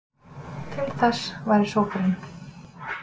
til þess væri sópurinn.